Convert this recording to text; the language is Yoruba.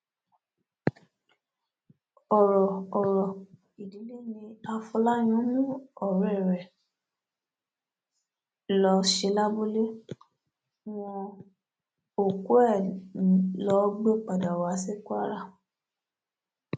ọrọ ọrọ ìdílé ní afọláyàn mú ọrẹ ẹ lọọ ṣe lábúlé wọn òkú ẹ ló gbé padà wá sí kwara